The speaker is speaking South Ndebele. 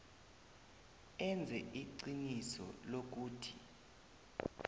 enze iqiniso lokuthi